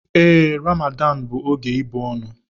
Ee, Ramadanu bụ oge ịbụ ọnụ.